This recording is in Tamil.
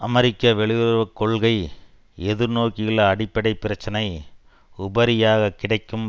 அமெரிக்க வெளியுறவு கொள்கை எதிர்நோக்கியுள்ள அடிப்படை பிரச்சனை உபரியாக கிடைக்கும்